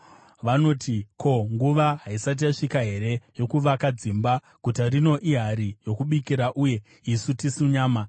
Vanoti, ‘Ko, nguva haisati yasvika here yokuvaka dzimba? Guta rino ihari yokubikira, uye isu tisu nyama.’